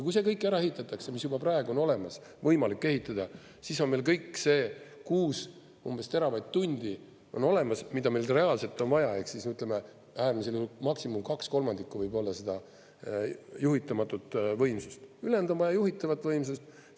Kui see kõik ära ehitatakse, mis juba praegu on olemas, võimalik ehitada, siis on meil kõik see umbes 6 teravatt-tundi olemas, mida meil reaalselt on vaja ehk ütleme, äärmisel juhul maksimum kaks kolmandikku juhitamatut võimsust, ülejäänud on vaja juhitavat võimsust.